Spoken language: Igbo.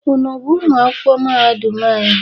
Unu bụ ụmụ akwụkwọ mahadum anyị?